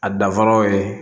A danfaraw ye